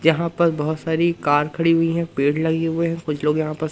यहाँ पर बहोत सारी कार खड़ी हुई है। पेड़ लगे हुए हैं। कुछ लोग यहाँ पर--